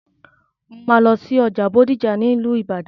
Mò ń lọ sí ọjà Bódìjà ní ìlú ìbàdàn.